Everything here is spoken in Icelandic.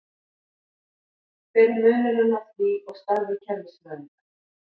Hver er munurinn á því og starfi kerfisfræðinga?